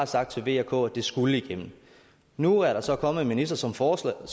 sagt til v og k at det skulle igennem nu er der så kommet en minister som foreslår